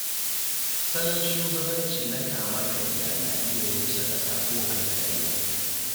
Salon shugabanci na kama karya na iya rusa ƙasa ko alƙarya